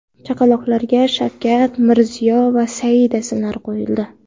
Chaqaloqlarga Shavkat, Mirziyo va Saida ismlari qo‘yildi.